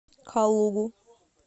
калугу